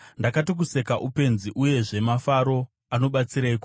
Ndakati, “Kuseka upenzi, uyezve mafaro anobatsireiko?”